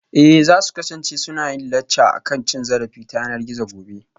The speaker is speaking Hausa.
Eh za su kasance suna yin lacca akan cin zarafi ta yanar gizo gobe